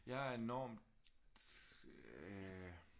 Jeg er enormt øh